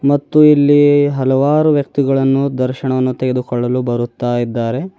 ಮತ್ತು ಇಲ್ಲಿ ಹಲವಾರು ವ್ಯಕ್ತಿಗಳನ್ನು ದರ್ಶನವನ್ನು ತೆಗೆದುಕೊಳ್ಳಲು ಬರುತ್ತಾ ಇದ್ದಾರೆ.